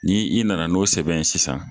Ni i nana n'o sɛbɛn ye sisan